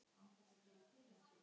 Út með ykkur!